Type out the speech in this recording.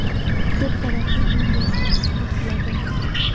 Ko‘p qavatli uy yozda issiqlik qiladi.